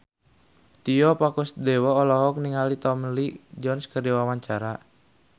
Tio Pakusadewo olohok ningali Tommy Lee Jones keur diwawancara